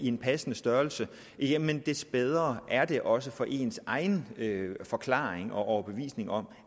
en passende størrelse jamen des bedre er det også for ens egen forklaring og overbevisning om